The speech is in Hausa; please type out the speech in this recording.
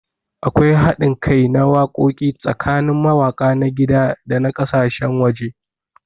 Akwai haɗin kai na wakoki tsakanin mawaka na gida da na kasashen waje.